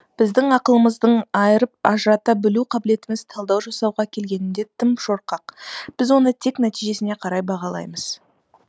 біздің ақылымыздың айырып ажырата білу қабілетіміз талдау жасауға келгенде тым шорқақ біз оны тек нәтижесіне қарай бағалаймыз